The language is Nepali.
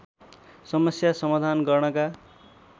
समस्या समाधान गर्नका